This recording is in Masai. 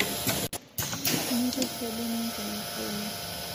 Mipik saiboni nkonyek ianie